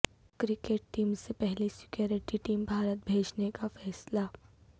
cricket team سے پہلے security team Bharat بھیجنے کا فیصلہ